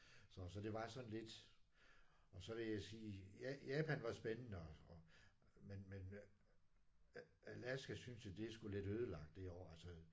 Så så det var sådan lidt. Og så vil jeg sige Japan var spændende og men men Alaska synes jeg det er sgu lidt ødelagt derovre altså